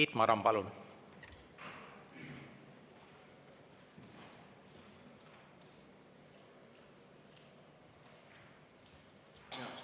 Tiit Maran, palun!